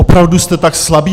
Opravdu jste tak slabí?